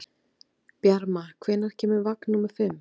Bjarma, hvenær kemur vagn númer fimm?